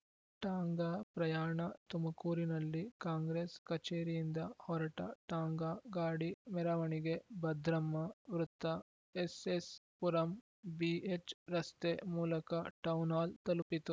ಟಾಂಗಾ ಪ್ರಯಾಣ ತುಮಕೂರಿನಲ್ಲಿ ಕಾಂಗ್ರೆಸ್‌ ಕಚೇರಿಯಿಂದ ಹೊರಟ ಟಾಂಗಾ ಗಾಡಿ ಮೆರವಣಿಗೆ ಭದ್ರಮ್ಮ ವೃತ್ತ ಎಸ್‌ಎಸ್‌ಪುರಂ ಬಿಎಚ್‌ರಸ್ತೆ ಮೂಲಕ ಟೌನ್‌ಹಾಲ್‌ ತಲುಪಿತು